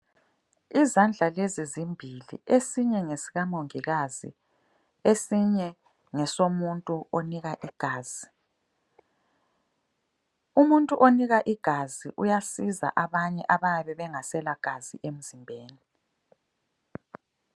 Izandla lezi zimbili esinye ngesika mongikazi esinye ngesomuntu onika igazi. Umuntu onika igazi uyasiza abanye abayabe bengasela gazi emzimbeni.